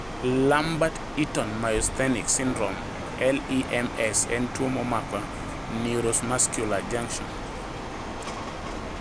Lambert Eaton myasthenic syndrome (LEMS) en tuo mamako neuromuscular junction.